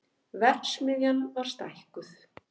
Verksmiðjan var stækkuð